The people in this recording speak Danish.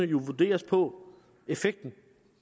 jo vurderes på effekten